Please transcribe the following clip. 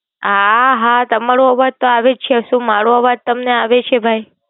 હા, હા તમારો અવાજ ત આવે છે. મારો અવાજ આવે છે ભાઈ?